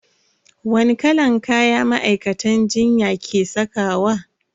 Wani kalan kaya ma'aikatan jinya ke sakawa?